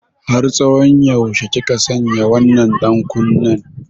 Har tsawon yaushe kika sanya wannan ɗankunnen?